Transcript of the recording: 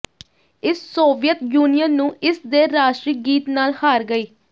ਇਸ Soviet Union ਨੂੰ ਇਸ ਦੇ ਰਾਸ਼ਟਰੀ ਗੀਤ ਨਾਲ ਹਾਰ ਗਈ